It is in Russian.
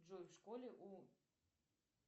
джой в школе у